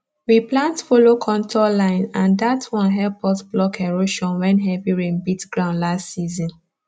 we plant follow contour line and that one help us block erosion when heavy rain beat ground last season